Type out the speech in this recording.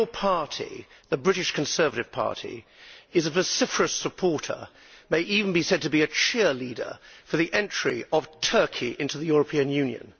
Your party, the British Conservative Party, is a vociferous supporter of it may even be said to be a cheerleader for the entry of Turkey into the European Union.